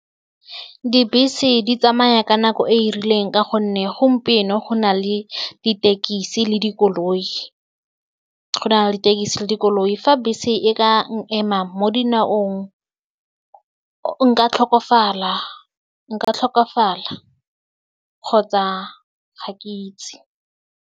Dibese di tsamaya ka nako e e rileng ka gonne gompieno go na le ditekisi le dikoloi, go na le ditekisi le dikoloi, fa bese e ka n'ema mo dinaong, nka tlhokofala, nka tlhokofala kgotsa ga ke itse.